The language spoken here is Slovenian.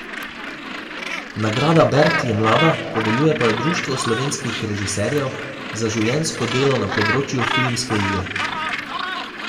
Nagrada bert je mlada, podeljuje pa jo Društvo slovenskih režiserjev za življenjsko delo na področju filmske igre.